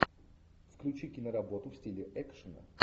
включи киноработу в стиле экшена